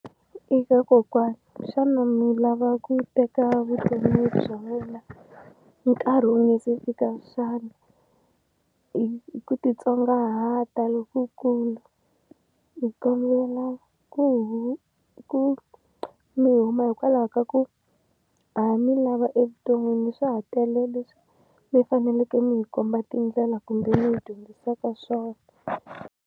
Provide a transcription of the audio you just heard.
Eka kokwana xana mi lava ku teka vutomi bya wena nkarhi wu nga se fika xana? hi ku titsongahata lokukulu hi kombela ku mi huma hikwalaho ka ku ha mi lava evuton'wini swa ha tele leswi mi faneleke mi hi komba tindlela kumbe mi hi dyondzisaka swona.